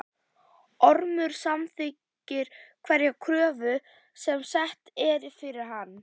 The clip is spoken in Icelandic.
Ormur samþykkir hverja kröfu sem sett er fyrir hann.